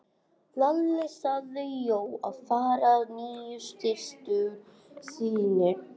Lalli sagði Jóa frá nýju systur sinni.